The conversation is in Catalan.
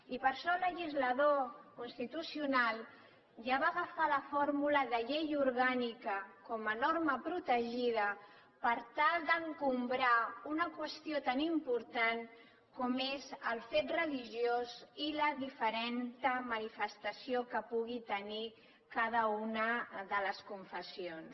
i per això el legislador constitucional ja va agafar la fórmula de llei orgànica com a norma protegida per tal d’exalçar una qüestió tan important com és el fet religiós i la diferent manifestació que pugui tenir cada una de les confessions